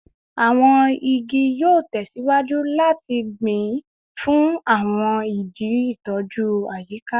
Awọn igi yoo tẹsiwaju lati gbin fun awọn idi itoju ayika